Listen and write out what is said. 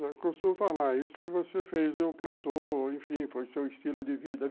Eu costumo falar, isso que você fez, eu plantou, enfim, foi seu estilo de vida.